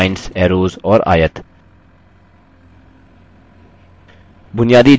बुनियादी आकारों का उपयोग करके जैसेlines arrows और आयत